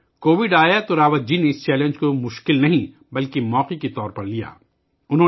جب کووڈ آیا تو راوت جی نے اس چیلنج کو مشکل نہیں بلکہ ایک موقع کے طور پر لیا